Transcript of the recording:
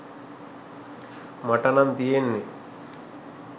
මට නං තියෙන්නෙ